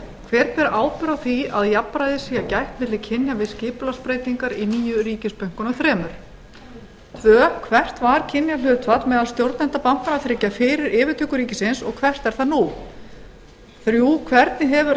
hver ber ábyrgð á því að jafnræðis sé gætt milli kynja við skipulagsbreytingar í nýju ríkisbönkunum þremur tvö hvert var kynjahlutfall meðal stjórnenda bankanna þriggja fyrir yfirtöku ríkisins og hvert er það nú þrjú hvernig hefur